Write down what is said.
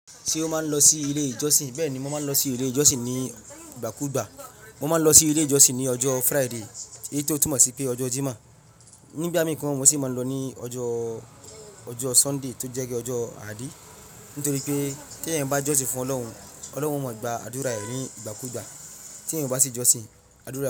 Ṣé o máa ń lọ sí ilé ìjọsìn? Bẹ́ẹ̀ ni mo máa ń lọ sí ilé ìjọsìn ní ìgbà kú ìgbà. Mo máa ń lọ sí ilé ìjọsìn ní ọjọ́ Friday, èyí tó túmọ̀ sí pé ọjọ́ Jímọ̀. Ni ìgbamii gan, mo sì máa ń lọ ní ọjọ́, ọjọ́ Sunday tó jẹ́ bii ọjọ́ Ààdí. Nítorí pé tí eeyan bá jọ́sìn fún Ọlọ́run, Ọlọ́run o máa gba àdúrà rẹ ní ìgbà kú ìgbà. Tí eeyan bá sì jọ́sìn, àdúrà rẹ.